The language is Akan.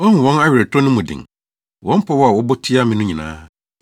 Woahu wɔn aweretɔ no mu den, wɔn pɔw a wɔbɔ tia me no nyinaa.